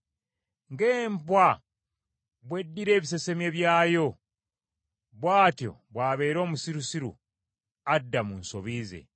Ng’embwa bw’eddira ebisesemye by’ayo, bw’atyo bw’abeera omusirusiru adda mu nsobi ze.